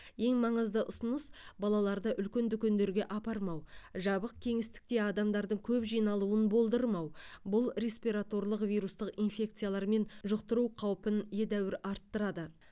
ең маңызды ұсыныс балаларды үлкен дүкендерге апармау жабық кеңістікте адамдардың көп жиналуын болдырмау бұл респираторлық вирустық инфекциялармен жұқтыру қаупін едәуір арттырады